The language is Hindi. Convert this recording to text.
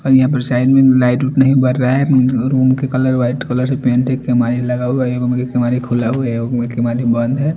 और यहाँ पर साइड में लाइट - उट नहीं बर रहा है अम्म रूम के कलर वाइट कलर से पेंट है केमाड़ी लगा हुआ है एगो में के केमाड़ी खुला हुआ है एगो में केमाड़ी बंद है।